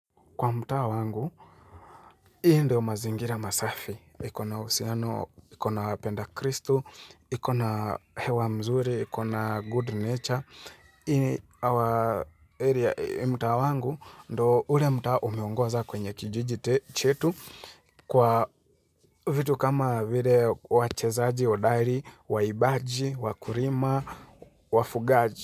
Kwa mtaa wangu, hii ndo mazingira masafi, ikona uhusiano, ikona wapenda kristu, ikona hewa mzuri, ikona good nature. Ini awa area mtaa wangu ndo ule mtaa umeongoza kwenye kijiji chetu kwa vitu kama vile wachezaji, odari, waibaji, wakurima, wafugaji.